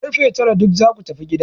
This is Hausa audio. Kar fe tara duk za ku tafi gida!